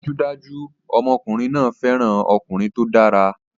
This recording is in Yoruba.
Dájúdájú! Ọmọkùnrin náà fẹ́ràn ọkùnrin tó dára